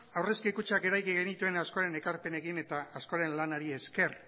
aurrezki kutxak eraiki genituen askoren ekarpenekin eta askoren lanari esker